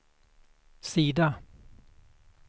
sida